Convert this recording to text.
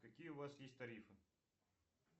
какие у вас есть тарифы